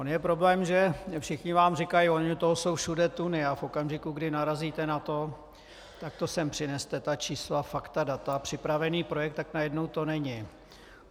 On je problém, že všichni vám říkají "ono toho jsou všude tuny", a v okamžiku, kdy narazíte na to "tak to sem přineste, ta čísla, fakta, data, připravený projekt", tak najednou to není.